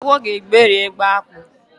Agwo ga-egberi egbe akpụ.